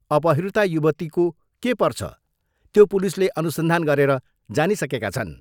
अपहृता युवतीको के पर्छ, त्यो पुलिसले अनुसन्धान गरेर जानिसकेका छन्।